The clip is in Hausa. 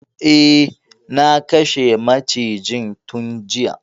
Eh, na kashe macijin tun juya.